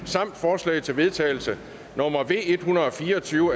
samt forslag til vedtagelse nummer v en hundrede og fire og tyve